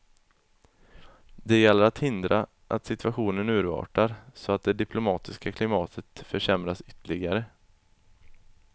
Det gäller att hindra att situationen urartar, så att det diplomatiska klimatet försämras ytterligare.